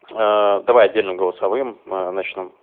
аа давай отдельно голосовым ээ начну